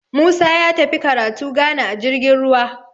Musa ya tafi karatu Ghana a jirgin ruwa